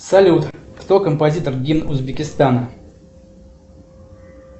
салют кто композитор гимн узбекистана